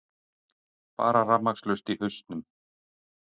Bara rafmagnslaust í hausnum.